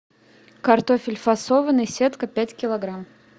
картофель фасованный сетка пять килограмм